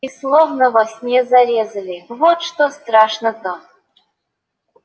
и словно во сне зарезали вот что страшно-то